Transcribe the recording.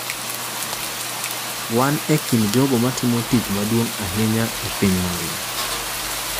Wan e kind jogo ma timo tich maduong’ ahinya e piny mangima.